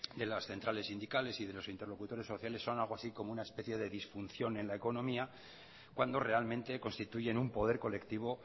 de las centrales sindicales y de los interlocutores sociales son algo así como una especie de disfunción en la economía cuando realmente constituyen un poder colectivo